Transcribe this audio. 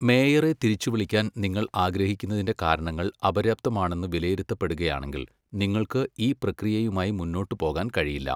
മേയറെ തിരിച്ചുവിളിക്കാൻ നിങ്ങൾ ആഗ്രഹിക്കുന്നതിന്റെ കാരണങ്ങൾ അപര്യാപ്തമാണെന്ന് വിലയിരുത്തപ്പെടുകയാണെങ്കിൽ, നിങ്ങൾക്ക് ഈ പ്രക്രിയയുമായി മുന്നോട്ട് പോകാൻ കഴിയില്ല.